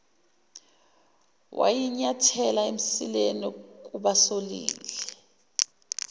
wayinyathela emsileni kubasolile